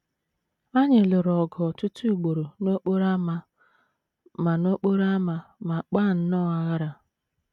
Anyị lụrụ ọgụ ọtụtụ ugboro n’okporo ámá ma n’okporo ámá ma kpaa nnọọ aghara.